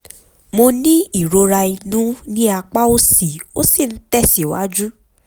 mo ní ìrora inú ní apá òsì ó sì ń tẹ̀síwájú